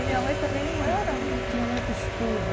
E minha mãe também não era tinha muito estudo.